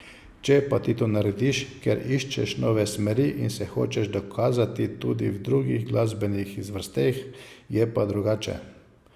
Če pa ti to narediš, ker iščeš nove smeri in se hočeš dokazati tudi v drugih glasbenih zvrsteh, je pa drugače.